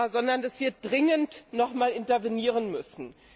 sondern dass wir dringend noch einmal intervenieren müssen.